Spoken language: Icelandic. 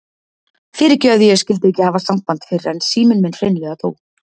Fyrirgefðu að ég skyldi ekki hafa samband fyrr en síminn minn hreinlega dó.